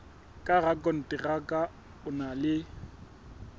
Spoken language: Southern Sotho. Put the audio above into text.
ka rakonteraka o na le